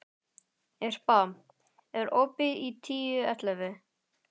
Irpa, er opið í Tíu ellefu?